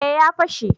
eh ya fashe